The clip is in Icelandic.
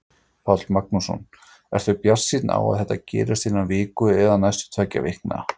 Páll Magnússon: Ertu bjartsýnn á að þetta gerist innan viku eða næstu tveggja vikna?